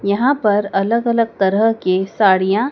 यहां पर अलग अलग तरह के साड़िया--